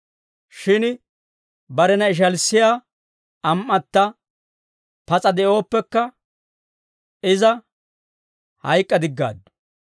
Shin barena ishalissiyaa am"atta pas'a de'ooppekka, iza hayk'k'adiggaaddu.